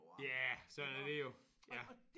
Ja sådan er det jo ja